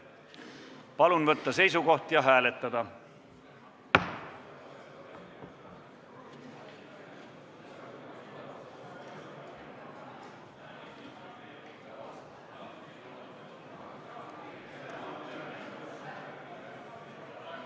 Palun võtta seisukoht ja hääletada!